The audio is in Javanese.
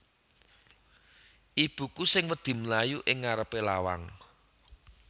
Ibuku sing wedi mlayu ing ngarepe lawang